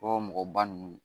O mɔgɔba ninnu